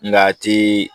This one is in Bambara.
Nga a ti